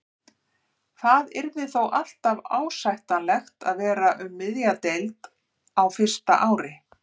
Það yrði þó alltaf ásættanlegt að vera um miðja deild á fyrsta ári.